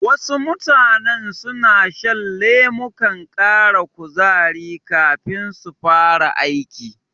Wasu mutanen suna shan lemukan ƙara kuzari kafin su fara aiki.